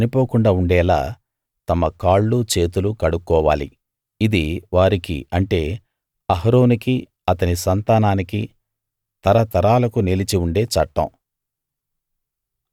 వాళ్ళు చనిపోకుండా ఉండేలా తమ కాళ్ళు చేతులు కడుక్కోవాలి ఇది వారికి అంటే అహరోనుకి అతని సంతానానికి తరతరాలకు నిలిచి ఉండే చట్టం